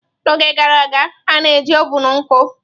N'oge gara aga, a na-eji ovun nkụ.